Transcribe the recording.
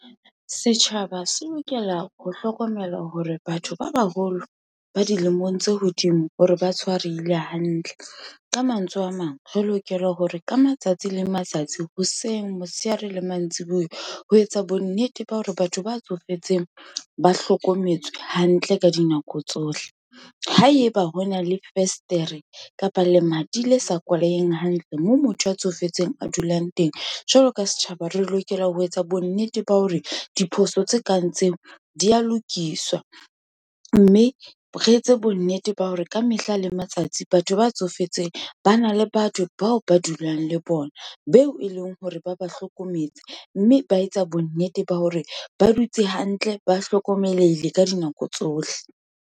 Setjhaba se lokela ho hlokomela hore batho ba baholo, ba dilemong tse hodimo, hore ba tshwarehile hantle. Ka mantswe a mang, re lokela hore ka matsatsi le matsatsi, ha se seng motshehare le mantsibuya. Ho etsa bonnete ba hore batho ba tsofetseng, ba hlokometswe hantle ka dinako tsohle. Ha eba hona le festere, kapa lemati le sa kwalehe hantle, moo motho a tsofetseng a dulang teng, jwalo ka setjhaba, re lokela ho etsa bonnete ba hore diphoso tse kang tseo, di ya lokiswa, mme re etse bonnete ba hore ka mehla le matsatsi, batho ba tsofetseng ba na le batho bao ba dulang le bona, beo e leng hore ba ba hlokometse. Mme ba etsa bonnete ba hore, ba dutse hantle, ba hlokomelehile ka dinako tsohle.